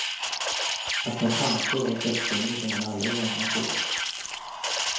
Att ta chanser var dödssynder som han aldrig ägnat sig åt.